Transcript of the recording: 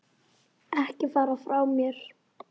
Ekki fara frá mér!